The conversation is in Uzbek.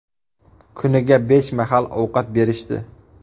Kuniga besh mahal ovqat berishdi.